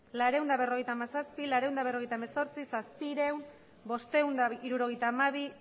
laurehun eta berrogeita hamazazpi laurehun eta berrogeita hemezortzi zazpiehun bostehun eta hirurogeita hamabi